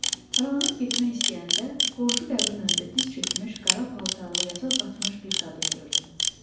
Aralanıb getmək istəyəndə, qonşu qəbrin önündə diz çökmüş, qara paltarlı, yasa batmış bir qadın gördüm.